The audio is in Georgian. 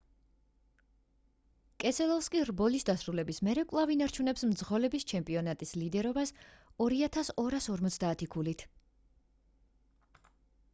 კესელოვსკი რბოლის დასრულების მერე კვლავ ინარჩუნებს მძღოლების ჩემპიონატის ლიდერობას 2,250 ქულით